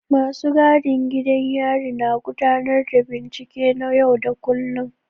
Masu gadin gidan yari na gudanar da bincike na yau da kullun.